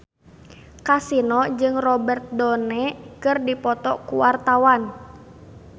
Kasino jeung Robert Downey keur dipoto ku wartawan